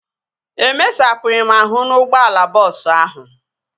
Emesapụghị m ahụ n'ụgbọala bọọsu ahụ